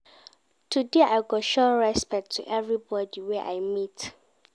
Today I go show respect to everybodi wey I meet.